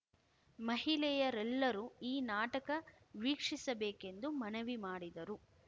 ಮಹಿಳೆಯರೆಲ್ಲರೂ ಈ ನಾಟಕ ವೀಕ್ಷಿಸಬೇಕೆಂದು ಮನವಿ ಮಾಡಿದರು